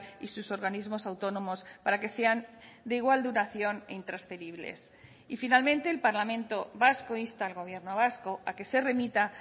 y sus organismos autónomos para que sean de igual duración e intransferibles y finalmente el parlamento vasco insta al gobierno vasco a que se remita